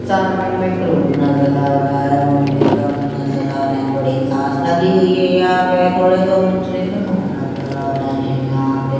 सामने में क्रॉप नजर आ रहा हैं रोड में नजर आरहा हैं थोड़ी घास लगी हुई हैं यहाँ पे थोड़े तो मंजरी में खान नजर आ रहे हैं यहाँ पे--